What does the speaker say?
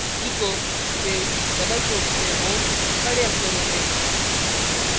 echo space double quotes में home बड़े अक्षरों में